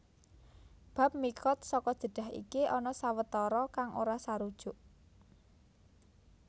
Bab miqat saka Jeddah iki ana sawetara kang ora sarujuk